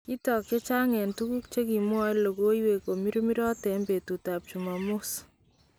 Kitook ak chechang en tukuk chekimwaen lokoywek komirmirot en betut ab chumamos